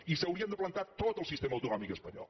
i s’hi hauria de plantar tot el sistema autonòmic espanyol